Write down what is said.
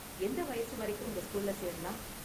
எந்த வயசு வரைக்கும் உங்க ஸ்கூல்ல சேரலாம்?